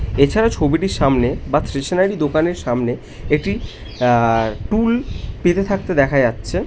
এছাড়া ছবিটির সামনে বা স্টেশনারি দোকানের সামনে একটি আ টুল পেতে থাকতে দেখা যাচ্ছে ।